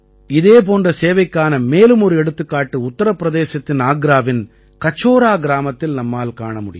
இதே போன்ற சேவைக்கான மேலும் ஒரு எடுத்துக்காட்டு உத்தரபிரதேசத்தின் ஆக்ராவின் கசோரா கிராமத்தில் நம்மால் காண முடியும்